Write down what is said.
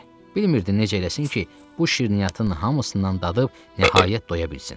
Bilmirdi necə eləsin ki, bu şirniyyatın hamısından dadıb nəhayət doya bilsin.